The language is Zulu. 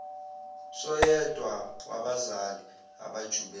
soyedwa wabazali abajube